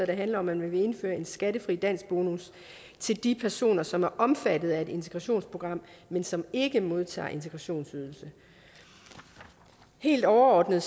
handler om at man vil indføre en skattefri danskbonus til de personer som er omfattet af et integrationsprogram men som ikke modtager integrationsydelse helt overordnet